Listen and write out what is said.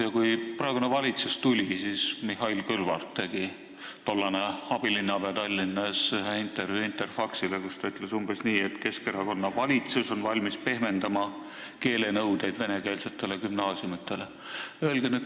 Kui praegune valitsus võimule tuli, siis Mihhail Kõlvart, tollane Tallinna abilinnapea, andis ühe intervjuu Interfaxile, kus ta ütles umbes nii, et Keskerakonna valitsus on valmis pehmendama keelenõudeid venekeelsetes gümnaasiumides.